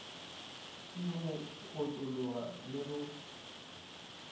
ke go otlologa le ge